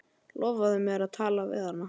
Lofaðu mér að tala við hana.